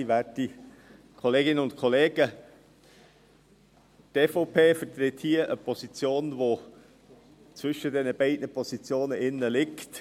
Die EVP vertritt hier eine Position, die zwischen den beiden Positionen liegt.